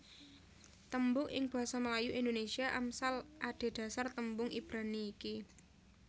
Tembung ing basa Melayu Indonésia Amsal adhedhasar tembung Ibrani iki